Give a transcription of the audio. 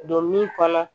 Don min kɔnɔ